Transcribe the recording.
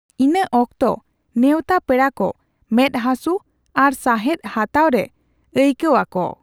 ᱤᱱᱟᱹ ᱚᱠᱛᱚ, ᱱᱮᱣᱛᱟ ᱯᱮᱲᱟ ᱠᱚ ᱢᱮᱫ ᱦᱟᱥᱩ ᱟᱨ ᱥᱟᱸᱦᱮᱫ ᱦᱟᱛᱟᱣ ᱨᱮ ᱟᱹᱭᱠᱟᱣ ᱟᱠᱚ ᱾